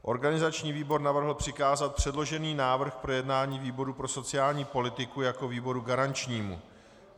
Organizační výbor navrhl přikázat předložený návrh k projednání výboru pro sociální politiku jako výboru garančnímu.